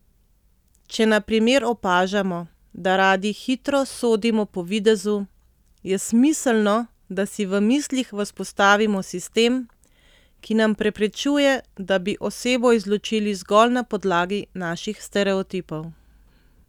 Če na primer opažamo, da radi hitro sodimo po videzu, je smiselno, da si v mislih vzpostavimo sistem, ki nam preprečuje, da bi osebo izločili zgolj na podlagi naših stereotipov.